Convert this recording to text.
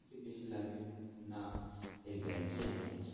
এর থেকে বেশি লাগবে না এর guarantee আমি নিচ্ছি